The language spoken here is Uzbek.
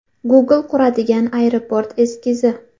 Google quradigan aeroport eskizi.